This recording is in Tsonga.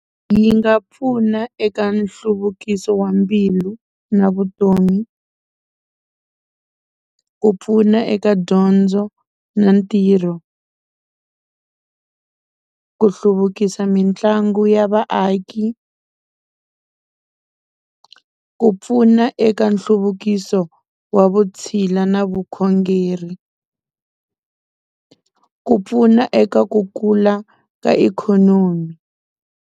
Yi nga pfuna eka nhluvukiso wa mbilu na vutomi ku pfuna eka dyondzo na ntirho ku hluvukisa mitlangu ya vaaki ku pfuna eka nhluvukiso wa vutshila na vukhongeri ku pfuna eka ku kula ka ikhonomi.